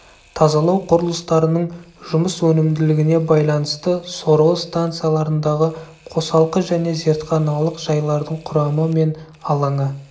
тазалау құрылыстарының жұмыс өнімділігіне байланысты сорғы станцияларындағы қосалқы және зертханалық жайлардың құрамы мен алаңы